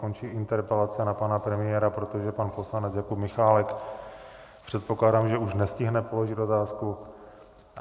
Končí interpelace na pan premiéra, protože pan poslanec Jakub Michálek, předpokládám, že už nestihne položit otázku.